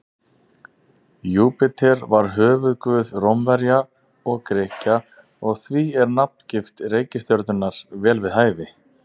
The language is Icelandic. Júpíter var höfuðguð Rómverja og Grikkja og því er nafngift reikistjörnunnar vel við hæfi.